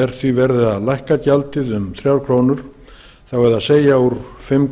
er því verið að lækka gjaldið um þrjár krónur það er úr fimm krónur í